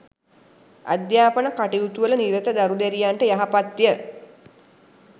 අධ්‍යාපන කටයුතුවල නිරත දරු දැරියන්ට යහපත්ය